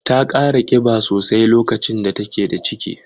Ta kara kiba sosai lokacin da take da ciki.